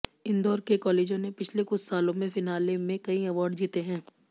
इंदौर के कॉलेजों ने पिछले कुछ सालों में फिनाले में कई अवॉर्ड जीते हैं